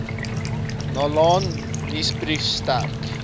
naln nuusbrief sterk